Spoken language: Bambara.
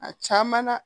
A caman na